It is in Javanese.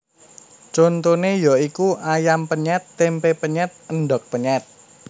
Contoné ya iku ayam penyèt tempé penyèt endhog penyèt